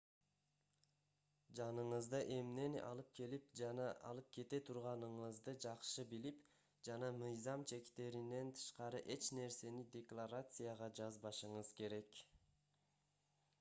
жаныңызда эмнени алып келип жана алып кете турганыңызды жакшы билип жана мыйзам чектеринен тышкары эч нерсени декларацияга жазбашыңыз керек